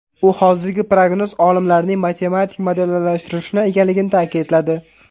U hozirgi prognoz olimlarning matematik modellashtirishi ekanligini ta’kidladi.